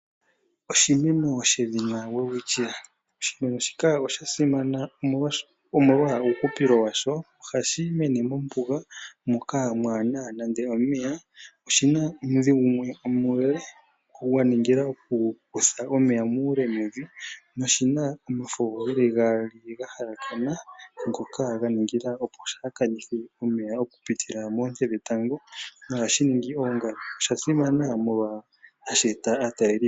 Oshimeno shedhina welwitchia Oshimeno shika osha simana omolwa uuhupilo wa sho. Ohashi mene mombuga moka mwaa na nando omeya. Oshi na omudhi gumwe omule gwa ningila okukutha omeya muule mevi noshi na omafo ge li gaali ga halakana, ngoka ga ningila opo shaa kanithe omeya okupitila moonte dhetango nohashi ningi oongala. Osha simana molwashoka ohashi eta aatalelipo.